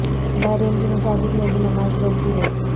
بحرین کی مساجد میں بھی نماز روک دی گئی